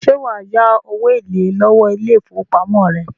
Ṣẹ́ wà á yá owó èlé lọ́wó ile-ifowópamọ́ rẹ.